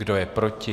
Kdo je proti?